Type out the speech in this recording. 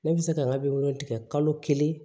Ne bɛ se ka n ka biro tigɛ kalo kelen